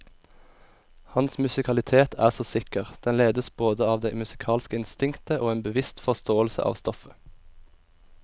Hans musikalitet er så sikker, den ledes både av det musikalske instinktet og en bevisst forståelse av stoffet.